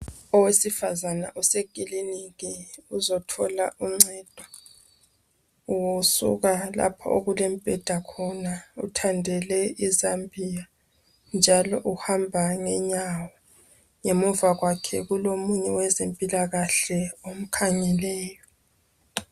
Owesifazana osekiliniki uzothola uncedo usuka lapho okulembheda khona uthandele izambiya njalo uhamba ngenyawo. Ngemuva kwakhe kulomunye owezempilakahle omkhangeleyo.